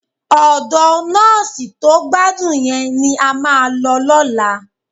Ọ̀dọ nọ́ọ̀sì tó gbádùn yẹn ni a máa lọ lọ́la